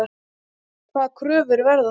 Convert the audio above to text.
Hvaða kröfur verða þar?